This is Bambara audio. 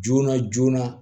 Joona joona